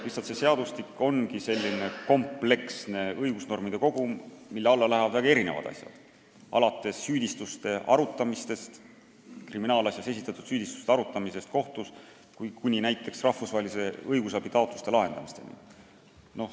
Lihtsalt see seadustik ongi selline kompleksne õigusnormide kogum, mille alla lähevad väga erinevad asjad, alates kriminaalasjas esitatud süüdistuste arutamisest kohtus kuni näiteks rahvusvaheliste õigusabitaotluste lahendamiseni.